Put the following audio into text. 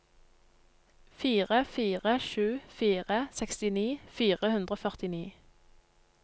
fire fire sju fire sekstini fire hundre og førtini